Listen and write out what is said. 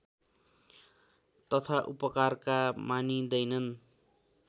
तथा उपकारका मानिँदैनन्